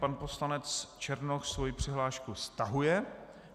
Pan poslanec Černoch svoji přihlášku stahuje.